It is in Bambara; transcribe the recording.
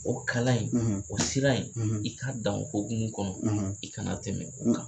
O kalan in o sira in i k'a dan o hokumu kɔnɔ i kana tɛmɛ o kan.